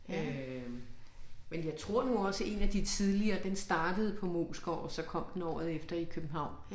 Øh men jeg tror nu også én af de tidligere den startede på Moesgaard og så kom den året efter i København